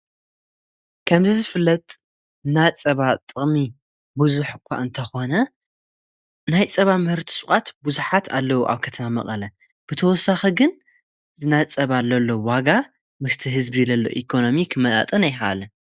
ጸባን ጸባ መሰረት ዝገበረ ፍርያትን ዝሸጣ ትካላት ሸቐጥ እየን። ከም ቅጫ፡ ሓርጭ፡ በርበረን ጣፍን ዝኣመሰሉ ነገራት የቕርቡ። እዘን ድኳናት ንመዓልታዊ ኣጠቓቕማ ተጠቀምቲ ዝኸውን ፍሩይ ፍርያት ጸባ የቕርባ።